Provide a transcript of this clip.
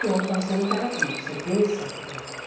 Eu falo, você não está vivo, você pensa que está vivo.